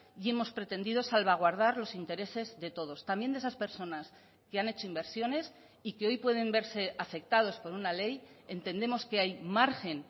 y hemos pretendido salvaguardar los intereses de todos también de esas personas que han hecho inversiones y que hoy pueden verse afectados por una ley entendemos que hay margen